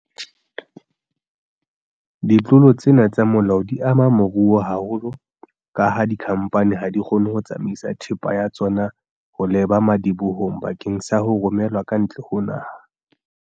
Ditlolo tsena tsa molao di ama moruo haholo kaha dikhamphani ha di kgone ho tsamaisa thepa ya tsona ho leba madibohong bakeng sa ho romelwa ka ntle ho naha.